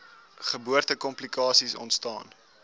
geboorte komplikasies ontstaan